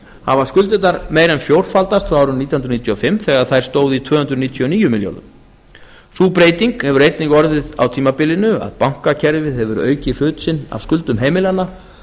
hafa skuldirnar meira en fjórfaldast frá árinu nítján hundruð níutíu og fimm þegar þær stóðu í tvö hundruð níutíu og níu milljörðum króna sú breyting hefur einnig orðið á tímabilinu að bankakerfið hefur aukið hlut sinn af skuldum heimilanna